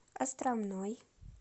островной